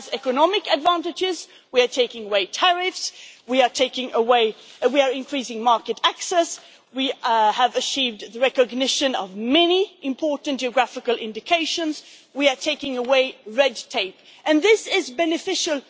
It has economic advantages we are taking away tariffs, we are increasing market access, we have achieved the recognition of many important geographical indications, we are taking away red tape and this is beneficial.